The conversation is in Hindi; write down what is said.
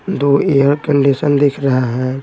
दो एयर कंडीशन दिख रहा हैं।